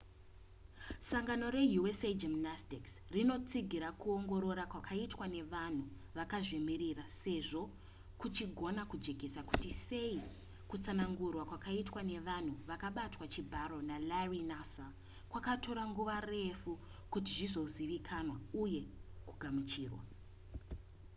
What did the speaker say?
sangano reusa gymnastics rinotsigira kuongorora kwaiitwa nevanhu vakazvimirira sezvo kuchigona kujekesa kuti sei kutsanangurwa kwakaitwa nevanhu vakabatwa chibharo nalarry nassar kwakatora nguva refu kuti kuzozivikanwa uye kugamuchirwa